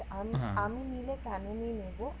আমি আমি নিলে ক্যানেনই নিবো